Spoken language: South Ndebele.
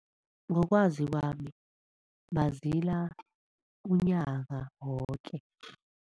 Ngokwazi kwami bazila unyaka woke.